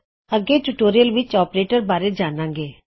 ਅੱਗੇ ਆਉਣ ਵਾਲੇ ਟਿਊਟੋਰਿਯਲ ਵਿੱਚ ਅਸੀਂ ਔਪਰੇਟਰਸ ਬਾਰੇ ਜਾਨਾਂਗੇ